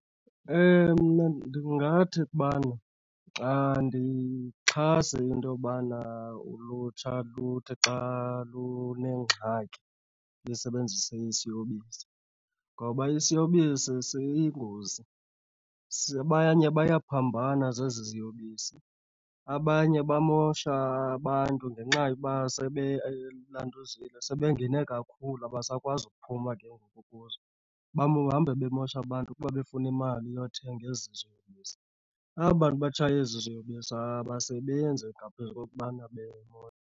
Mna ndingathi ukubana xandiyixhasi into yobana ulutsha luthi xa lunengxaki lisebenzise isiyobisi ngoba isiyobisi siyingozi. Abanye bayaphambana zezi ziyobisi, abanye bamosha abantu ngenxa yoba sebelantuzile, sebengene kakhulu abasakwazi uphuma ke ngoku kuzo. Bahambe bemosha abantu kuba befuna imali yothenga ezi ziyobisi. Aba bantu batshaya ezi iziyobisi abasebenzi ngaphezu kokubana bemosha.